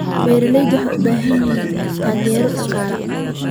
Beeraleydu waxay u baahan yihiin taageero dhaqaale.